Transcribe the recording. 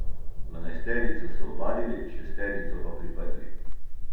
Dvanajsterico so ovadili, šesterico pa priprli.